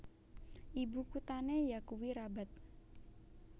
Ibu kuthané yakuwi Rabat